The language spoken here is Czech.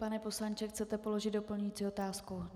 Pane poslanče, chcete položit doplňující otázku?